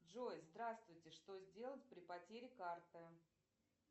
джой здравствуйте что сделать при потере карты